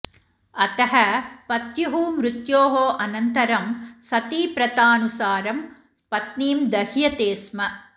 अतः पत्युः मृत्योः अनन्तरं सतीप्रथानुसारं पत्नीं दह्यते स्म